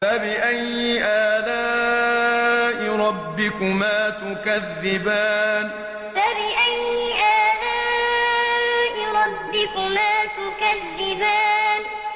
فَبِأَيِّ آلَاءِ رَبِّكُمَا تُكَذِّبَانِ فَبِأَيِّ آلَاءِ رَبِّكُمَا تُكَذِّبَانِ